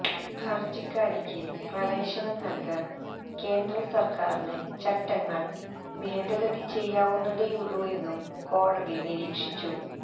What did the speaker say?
ഹര്ജിക്കാരിക്ക് പ്രവേശനം നല്കാന് കേന്ദ്ര സര്ക്കാരിന് ചട്ടങ്ങള് ഭേദഗതി ചെയ്യാവുന്നതേയുള്ളു എന്നും കോടതി നിരീക്ഷിച്ചു